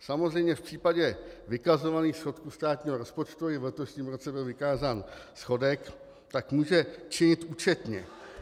Samozřejmě v případě vykazovaných schodků státního rozpočtu i v letošním roce byl vykázán schodek, tak může činit účetně.